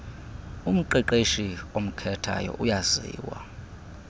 umqeqeshi omkhethayo uyaziwa